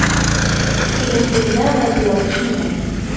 Filippinda vaziyat shunday.